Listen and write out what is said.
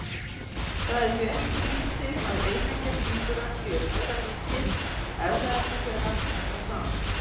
Það er því ekki skrýtið að eineggja tvíburar séu nauðalíkir, erfðaefni þeirra er það sama.